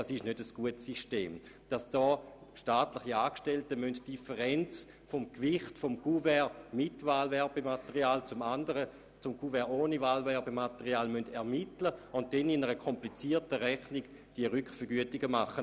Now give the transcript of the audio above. Es ist kein gutes System, wenn staatliche Angestellte die Differenz zwischen dem Gewicht eines Kuverts mit Werbematerial und einem Kuvert ohne Wahlwerbematerial ermitteln müssen, um dann durch ein kompliziertes Rechnungsverfahren die Kostendifferenz zu ermitteln.